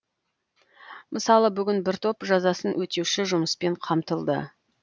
мысалы бүгін бір топ жазасын өтеуші жұмыспен қамтылды